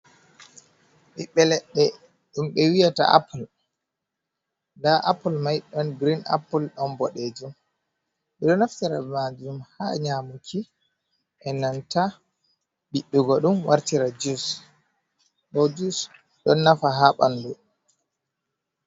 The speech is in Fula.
Ɓibbe leɗɗe ɗum ɓe wi'ata apul. Nda apul mai ɗon girin apul, ɗon boɗeejum. Ɓe ɗo naftira be maajum ha nyamuki, be nanta biɗɗugo ɗum wartira jus. Bo jus, ɗon nafa ha ɓandu.